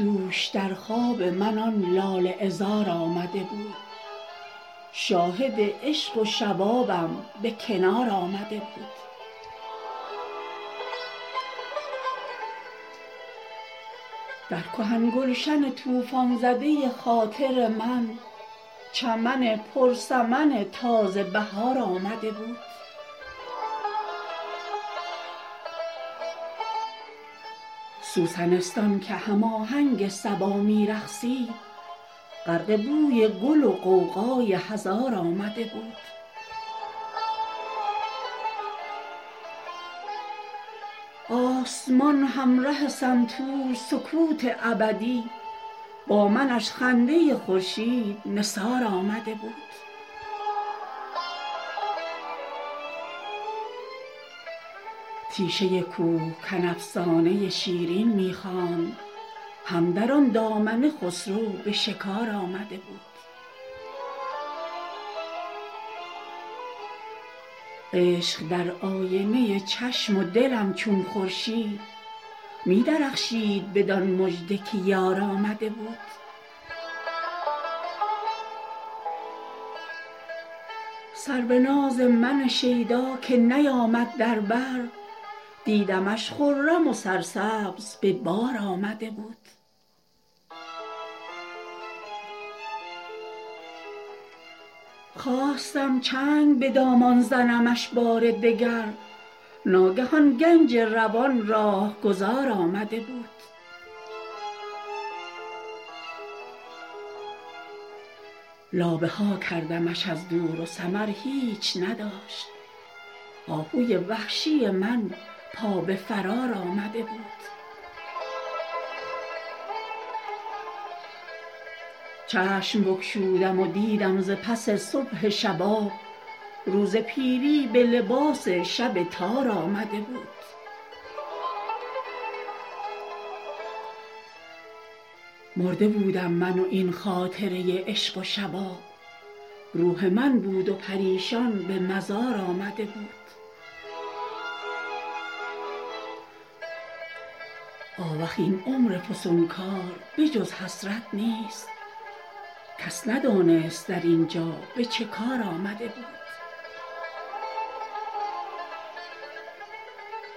دوش در خواب من آن لاله عذار آمده بود شاهد عشق و شبابم به کنار آمده بود در کهن گلشن طوفان زده خاطر من چمن پر سمن تازه بهار آمده بود سوسنستان که هم آهنگ صبا می رقصید غرق بوی گل و غوغای هزار آمده بود آسمان همره سنتور سکوت ابدی با منش خنده خورشید نثار آمده بود هر چمن صحنه ای از عشق و وفا لیک از من صحنه بیش از همه پرنقش و نگار آمده بود تیشه کوهکن افسانه شیرین می خواند هم در آن دامنه خسرو به شکار آمده بود رد پایی مگر از لیلی و کم کم مجنون ناخودآگاه سوی یار و دیار آمده بود سرو ناز من شیدا که نیامد در بر دیدمش خرم و سرسبز به بار آمده بود خواستم چنگ به دامان زنمش بار دگر ناگه آن گنج روان راهگذار آمده بود لابه ها کردمش از دور و ثمر هیچ نداشت آهوی وحشی من پا به فرار آمده بود یوسفی بود و زلیخا و همان توسن عشق کز نهیب ملک العرش مهار آمده بود چشم بگشودم و دیدم ز پس صبح شباب روز پیری به لباس شب تار آمده بود مرده بودم من و این خاطره عشق و شباب روح من بود و پریشان به مزار آمده بود آوخ این عمر فسونکار به جز حسرت نیست کس ندانست در اینجا به چه کار آمده بود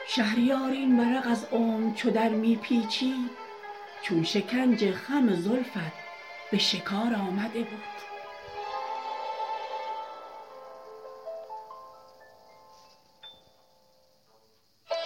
شهریار این ورق از عمر چو درمی پیچید چون شکنج خم زلفت به فشار آمده بود